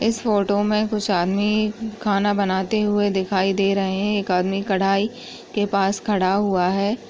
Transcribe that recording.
इस फोटो मे कुछ आदमी खाना बनाते हुए दिखाई दे रहे है एक आदमी कढ़ाई के पास खड़ा हुआ है।